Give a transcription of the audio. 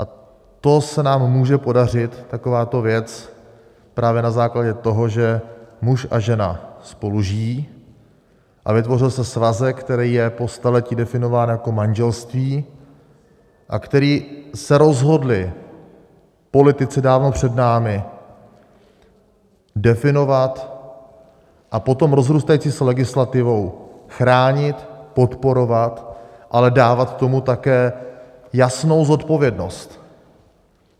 A to se nám může podařit, takováto věc, právě na základě toho, že muž a žena spolu žijí a vytvořil se svazek, který je po staletí definován jako manželství a který se rozhodli politici dávno před námi definovat a potom rozrůstající se legislativou chránit, podporovat, ale dávat tomu také jasnou zodpovědnost.